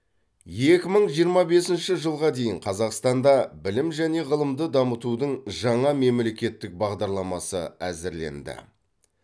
екі мың жиырма бесінші жылға дейін қазақстанда білім және ғылымды дамытудың жаңа мемлекеттік бағдарламасы әзірленді